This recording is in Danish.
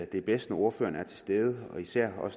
det er bedst når ordføreren er til stede især